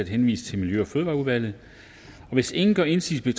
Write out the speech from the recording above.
henvises til miljø og fødevareudvalget hvis ingen gør indsigelse